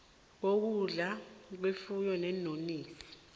kokudla kwefuyo neenonisi